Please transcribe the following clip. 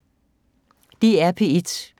DR P1